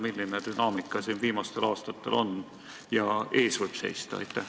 Milline dünaamika on viimastel aastatel olnud ja mis veel võib ees seista?